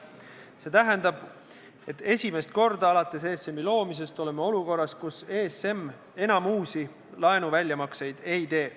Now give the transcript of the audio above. See tähendab, et esimest korda alates ESM-i loomisest oleme olukorras, kus ESM enam uusi laenuväljamakseid ei tee.